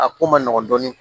A ko ma nɔgɔn dɔɔnin